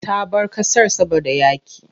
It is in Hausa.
Ta bar ƙasar saboda yaƙi.